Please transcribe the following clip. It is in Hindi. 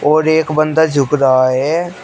और एक बंदा झुक रहा है।